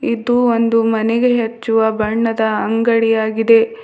ಇದು ಒಂದು ಮನೆಗೆ ಹಚ್ಚುವ ಬಣ್ಣದ ಅಂಗಡಿಯಾಗಿದೆ.